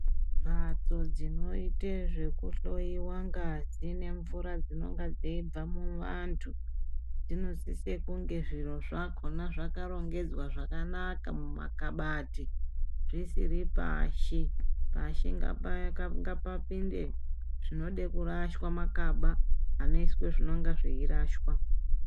Mhatso dzinoite zvekuhloyiwa ngazi nemvura dzinonga dzeibva muantu dzinosise kunge zviro zvakona zvakarongedzwe zvakanaka mumakabati dzisiri pashi pashi ngapayaka ngapapinde zvinode kurashwa makaba anoiswe zvinenge zveide kurashwa.